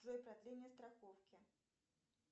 джой продление страховки